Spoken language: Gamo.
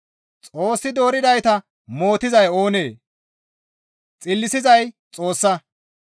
Xoossi dooridayta mootizay oonee? Xillisizay Xoossa.